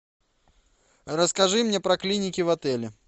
расскажи мне про клиники в отеле